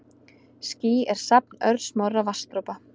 Ský er safn örsmárra vatnsdropa.